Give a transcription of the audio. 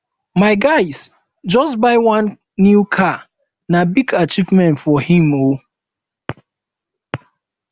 my guy just buy one new car na big achievement for him o